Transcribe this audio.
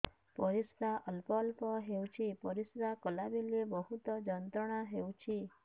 ପରିଶ୍ରା ଅଳ୍ପ ଅଳ୍ପ ହେଉଛି ପରିଶ୍ରା କଲା ବେଳେ ବହୁତ ଯନ୍ତ୍ରଣା ହେଉଛି